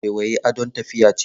Waiwayi adon tafiya ce.